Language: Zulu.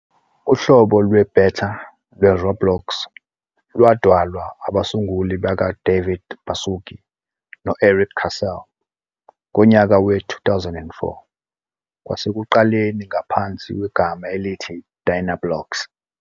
Uhlobo lwe-beta lweRoblox lwadalwa abasunguli bakaDavid Baszucki no-Erik Cassel ngonyaka we-2004, kwasekuqaleni ngaphansi kwegama elithi DynaBlocks.